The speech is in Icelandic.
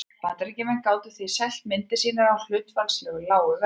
Bandaríkjamenn gátu því selt myndir sínar á hlutfallslega lágu verði.